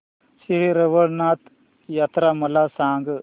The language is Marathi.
श्री रवळनाथ यात्रा मला सांग